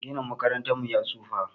Ginin makarantar mu ya tsufa